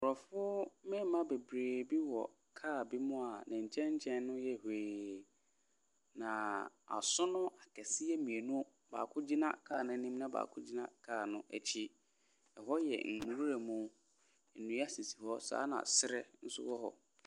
Aborɔfo mmarima bebree bi wɔ car bi mu a ne nkyɛn nkyɛn no yɛ hwee. Na asono akɛseɛ mmienu, baako gyinaa kaa no anim na baako gyina car no akyi. Ɛhɔ yɛ nwura mu, saa ara na serɛ nso wɔ hɔ.